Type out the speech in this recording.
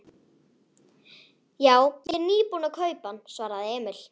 Já, ég er nýbúinn að kaupa hann, svaraði Emil.